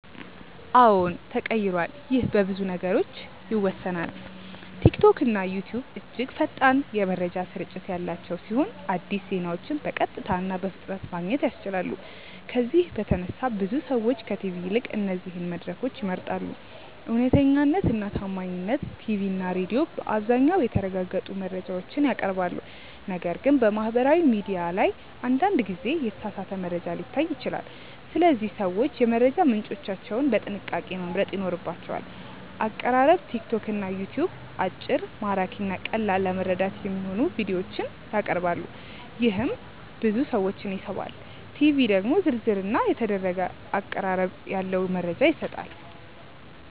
አዎን ተቀይሯል ይህ በብዙ ነገሮች ይወሰናል። ቲክቶክና ዩትዩብ እጅግ ፈጣን የመረጃ ስርጭት ያላቸው ሲሆን አዲስ ዜናዎችን በቀጥታ እና በፍጥነት ማግኘት ያስችላሉ። ከዚህ በተነሳ ብዙ ሰዎች ከቲቪ ይልቅ እነዚህን መድረኮች ይመርጣሉ። እውነተኛነት እና ታማኝነት ቲቪ እና ሬዲዮ በአብዛኛው የተረጋገጡ መረጃዎችን ያቀርባሉ፣ ነገር ግን በማህበራዊ ሚዲያ ላይ አንዳንድ ጊዜ የተሳሳተ መረጃ ሊታይ ይችላል። ስለዚህ ሰዎች የመረጃ ምንጮቻቸውን በጥንቃቄ መምረጥ ይኖርባቸዋል። አቀራረብ ቲክቶክ እና ዩትዩብ አጭር፣ ማራኪ እና ቀላል ለመረዳት የሚሆኑ ቪዲዮዎችን ያቀርባሉ፣ ይህም ብዙ ሰዎችን ይስባል። ቲቪ ደግሞ ዝርዝር እና የተደረገ አቀራረብ ያለው መረጃ ይሰጣል።